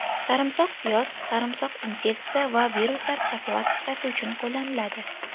Sarimsoq piyoz Sarimsoq infeksiya va viruslar profilaktikasi uchun qo‘llaniladi.